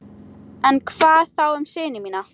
En hvað þá um syni mína?